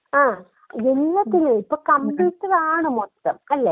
ആ എല്ലാറ്റിനും ഇപ്പോ കമ്പ്യൂട്ടർ ആണ് മൊത്തം അല്ലേ?